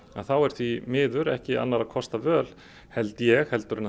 þá er því miður ekki annarra kosta völ held ég en